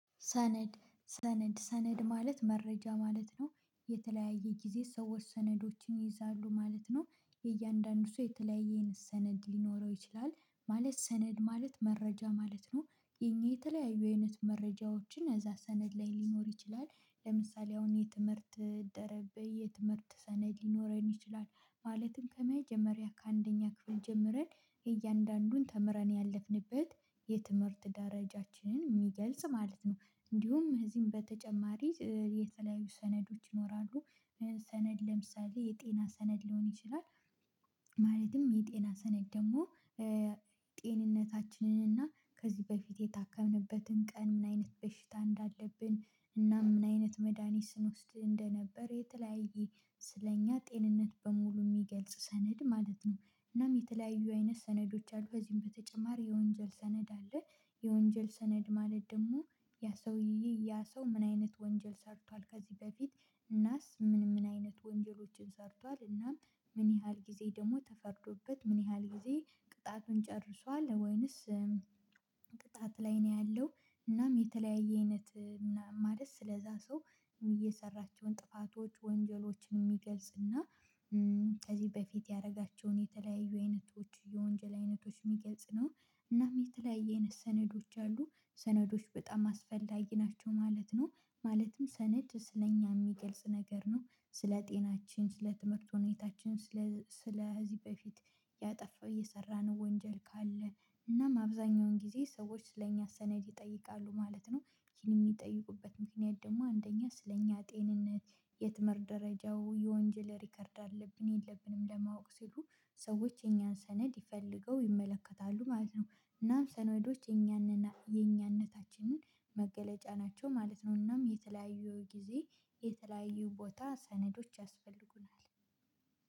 ሰነድ ሰነድ ሰነድ ማለት መረጃ ማለት ነው የተለያየ ጊዜ ሰዎች ሰነዶችን ይይዛሉ ማለት ነው። የእያንዳንዱ ሰው የተለያየ አይነት ሰነድ ሊኖረው ይችላል። ማለት ሰነድ ማለት መረጃ ማለት ነው። የኛ የተለያዩ አይነት መረጃዎችን እዛ ሰነድ ላይ ሊኖር ይችላል። ለምሳሌ አሁን የትምህርት ደረብ የትምህርት ሰነድ ሊኖረን ይችላል። ማለትም ከመጀመሪያ ከአንደኛ ክፍል ጀምረን እያንዳንዱን ተምረን ያለፍንበት የትምህርት ደረጃችንን ሚገልጽ ማለት ነው። እንዲሁም እዚህም በተጨማሪ የተለያዩ ሰነዶች ይኖራሉ። ሰነድ ለምሳሌ የጤና ሰነድ ሊሆን ይችላል። ማለትም የጤና ሰነድ ደግሞ እ ጤንነታችንን እና ከዚህ በፊት የታከምንበትን ቀን ምን አይነት በሽታ እንዳለብን እና ምን አይነት መድሃኒት ስኖስድ እንደነበረ የተለያየ ስለእኛ ጤንነት በሙሉ የሚገልጽ ሰነድ ማለት ነው። እናም የተለያዩ አይነት ሰነዶች አሉ በዚህም በተጨማሪ የወንጀል ሰነድ አለ። የወንጀል ሰነድ ማለት ደግሞ ያ ሰውዬ ያ ሰው ምን አይነት ወንጀል ሰርቷል ከዚህ በፊት እናስ ምን ምን አይነት ወንጀሎችን ሰርቷል እናም ምን ያህል ጊዜ ደግሞ ተፈርዶበት ምን ያህል ጊዜ ቅጣቱን ጨርሷል ወይንስ ቅጣት ላይ ነው ያለው። እናም የተለያየ አይነት ማለት ስለዛ ሰው እ የሰራችውን ጥፋቶች ወንጀሎችን የሚገልጽ እና እ ከዚህ በፊት ያደረጋቸውን የተለያዩ አይነቶች የወንጀል አይነቶች ሚገልጽ ነው። እናም የተለያየ አይነት ሰነዶች አሉ። ሰነዶች በጣም አስፈላጊ ናቸው ማለት ነው። ማለትም ሰነድ ስለእኛ የሚገልጽ ነገር ነው ስለ ጤናችን ስለ ትምህርት ሁኔታችን ስለ ስለ ከዚ በፊት ያጠፋው የሰራነው ወንጀል ካለ እናም አብዛኛውን ጊዜ ሰዎች ስለኛ ሰነድ ይጠይቃሉ ማለት ነው። ይሄን የሚጠይቁበት ምክንያት ደግሞ አንደኛ ስለኛ ጤንነት የትምህርት ደረጃው የወንጀል ሪከርድ አለብን የለብንም ለማወቅ ሲሉ ሰዎች እኛን ሰነድ ይፈልገው ይመለከታሉ ማለት ነው። እናም ሰነዶች የኛንና የኛነታችንን መገለጫ ናቸው ማለት ነው። እናም የተለያዩ ጊዜ የተለያዩ ቦታ ሰነዶች ያስፈልጉናል።